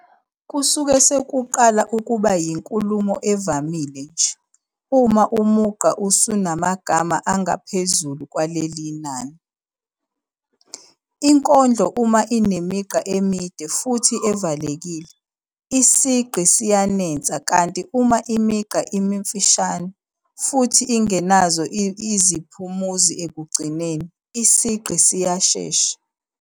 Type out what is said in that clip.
Kusuke sekuqala ukuba yinkulumo evamile nje uma umugqa usunamagama angaphezu kwaleli nani. Inkondlo uma inemigqa emide futhi evalekile, isigqi siyanensa kanti uma imigqa imifishane futhi ingenazo iziphumuzi ekugcineni, isigqi siyashesha.